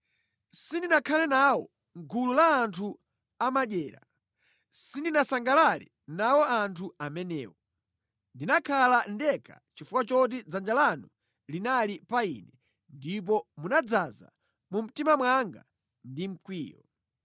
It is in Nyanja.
Sindinakhale nawo mʼgulu la anthu amadyera, sindinasangalale nawo anthu amenewo. Ndinakhala ndekha chifukwa choti dzanja lanu linali pa ine ndipo munadzaza mu mtima mwanga ndi mkwiyo.